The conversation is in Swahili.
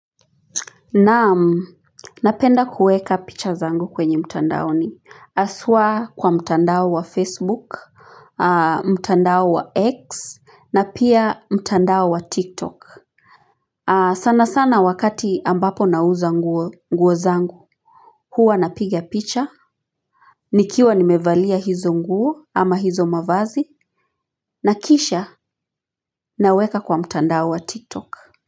Naam napenda kueka picha zangu kwenye mtandaoni. Aswa kwa mtandao wa Facebook, mtandao wa X na pia mtandao wa TikTok. Sana sana wakati ambapo nauza nguo zangu huwa napiga picha, nikiwa nimevalia hizo nguo ama hizo mavazi na kisha naweka kwa mtandao wa TikTok.